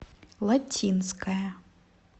латинская